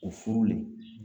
O furu le.